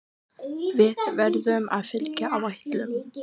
Við verðum að fylgja áætlunum